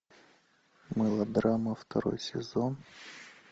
мылодрама второй сезон